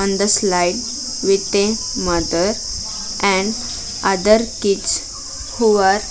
On the slide with a mother and other kids who are --